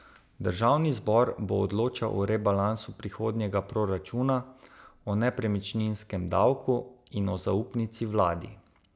Državni zbor bo odločal o rebalansu prihodnjega proračuna, o nepremičninskem davku in o zaupnici vladi.